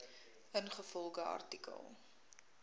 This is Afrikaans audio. ingevolge artikel